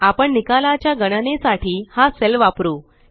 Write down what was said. आपण निकालाच्या गणनेसाठी हा सेल वापरु